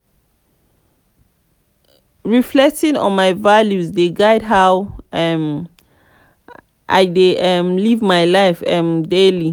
reflecting on my values dey guide how i um dey um live my life um daily.